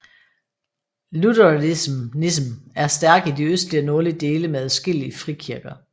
Lutheranism er stærk i de østlige og nordlige dele med adskillige frikirker